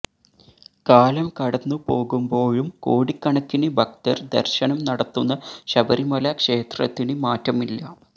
കാലം കടന്നുപോകുമ്പോഴും കോടിക്കണക്കിന് ഭക്തര് ദര്ശനം നടത്തുന്ന ശബരിമല ക്ഷേത്രത്തിന് മാറ്റമില്ല